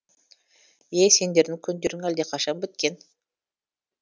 е сендердің күндерің әлдеқашан біткен